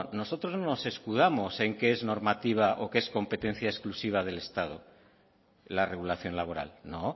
no nosotros no nos escudamos en qué es normativa o qué es competencia exclusiva del estado la regulación laboral no